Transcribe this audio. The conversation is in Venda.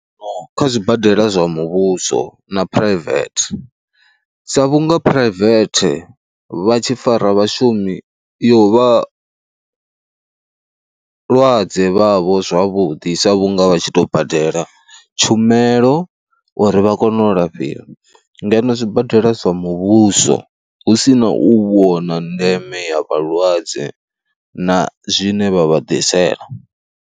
kha zwibadela zwa muvhuso na phuraivethe sa vhunga phuraivethe vha tshi fara vhashumi yo vha vhalwadze vhavho zwavhuḓi sa vhunga nga vha tshi tou badela tshumelo uri vha kone u lafhiwa ngeno zwibadela zwa muvhuso hu si na u vhona ndeme ya vhalwadze na zwine vha vha ḓisela.